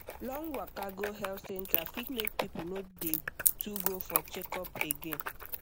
long waka go health center fit make people no dey too go for checkup again